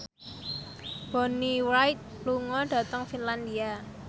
Bonnie Wright lunga dhateng Finlandia